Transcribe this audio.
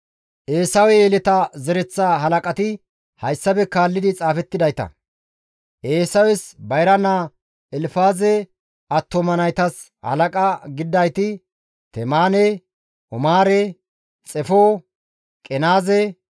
Eesawe yeletaa zereththa halaqati hayssafe kaalli xaafettidayta. Eesawes bayra naa Elfaaze attuma naytas halaqa gididayti Temaane, Omaare, Xefo, Qenaaze,